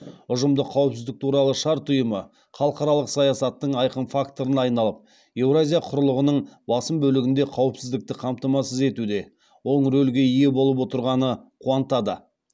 ұжымдық қауіпсіздік туралы шарт ұйымы халықаралық саясаттың айқын факторына айналып еуразия құрлығының басым бөлігінде қауіпсіздікті қамтамасыз етуде оң рөлге ие болып отырғаны қуантады